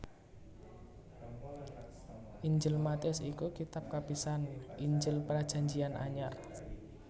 Injil Matius iku kitab kapisan Injil Prajanjian Anyar